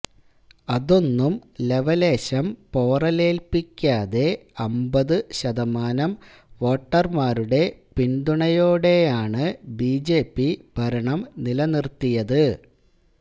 അതൊന്നും ലവലേശം പൊറലേല്പ്പിക്കാതെ അമ്പതുശതമാനം വോട്ടര്മാരുടെ പിന്തുണയോടെയാണ് ബിജെപി ഭരണം നിലനിര്ത്തിയത്